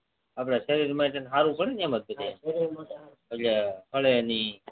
ભલે એની આપડા સરીર માટે સારું જ કરે ને એટલે ફ્લે ની